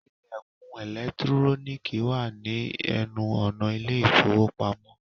Ìlẹ̀kùn ẹ̀lẹ́trónìkì wà ní ẹnu ọ̀nà ilé ìfọwọ́pamo.